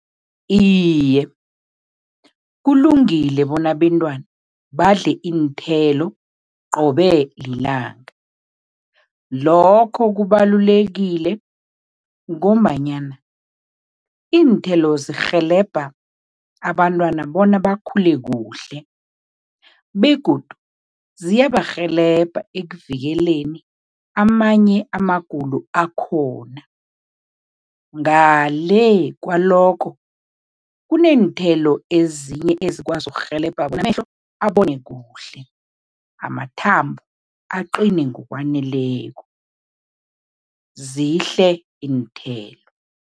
Iye, kulungile bona abentwana badle iinthelo qobe lilanga. Lokho kubalulekile ngombanyana iinthelo zirhelebha abantwana bona bakhule kuhle begodu ziyabarhelebha ekuvikeleni amanye amagulo akhona. Ngale kwalokho, kuneenthelo ezinye ezikwazi ukurhelebha bona amehlo abone kuhle, amathambo aqine ngokwaneleko, zihle iinthelo.